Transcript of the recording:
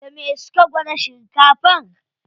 Da me suka gwada shinkafar?